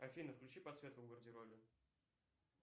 афина включи подсветку в гардеробе